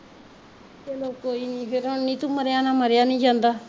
ਕੋਈ ਨਾ ਫਿਰ ਹੁਣ ਨੀਤੂ ਮਰਿਆ ਨਾਲ਼ ਮਰਿਆ ਨੀ ਜਾਂਦਾ